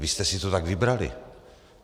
Vy jste si to tak vybrali!